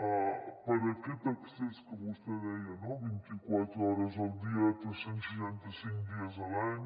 per aquest accés que vostè deia no vint i quatre hores al dia tres cents i seixanta cinc dies a l’any